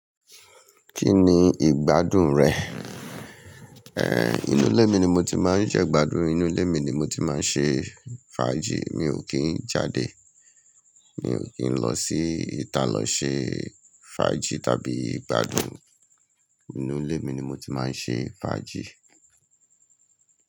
Kí ni ìgbádùn rẹ̀? Inú ilé mi ni mo ti máa ń jẹ́ gbádùn, inú ilé mi ni mo ti máa ń ṣe fàájì. Mi ò kí ń jáde. Mi ò kí ń lọ sí ìta lọ ṣe fàájì tàbí ìgbádùn. Inú ilé mi ni mo ti máa ń ṣe fàájì.